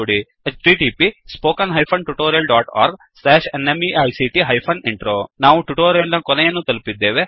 httpspoken tutorialorgNMEICT Intro ನಾವು ಈ tutorial ನ ಕೊನೆಯನ್ನು ತಲುಪಿದ್ದೇವೆ